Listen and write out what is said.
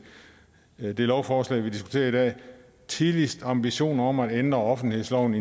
det lovforslag vi diskuterer i dag tidligst ambitioner om at ændre offentlighedsloven